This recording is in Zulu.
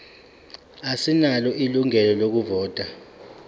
asinalo ilungelo lokuvota